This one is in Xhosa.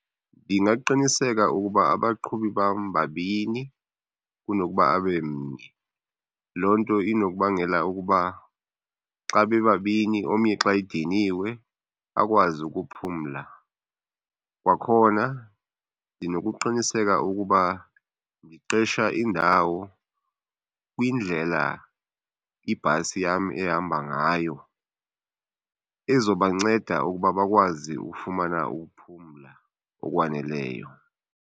Ndingaqiniseka ukuba abaqhubi bam babini kunokuba abe mnye. Loo nto inokubangela ukuba xa bebabini omnye xa ediniwe akwazi ukuphumla. Kwakhona ndinokuqiniseka ukuba ndiqesha indawo kwindlela ibhasi yam ehamba ngayo ezobanceda ukuba bakwazi ufumana ukuphumla okwaneleyo.